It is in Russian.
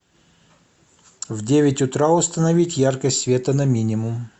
в девять утра установить яркость света на минимум